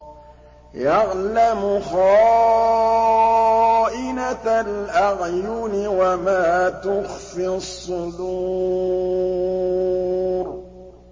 يَعْلَمُ خَائِنَةَ الْأَعْيُنِ وَمَا تُخْفِي الصُّدُورُ